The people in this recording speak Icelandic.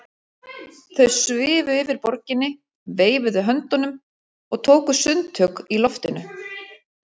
Þau svifu yfir borginni, veifuðu höndunum og tóku sundtök í loftinu.